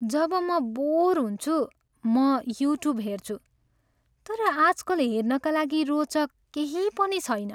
जब म बोर हुन्छु, म युट्युब हेर्छु। तर आजकल हेर्नका लागि रोचक केही पनि छैन।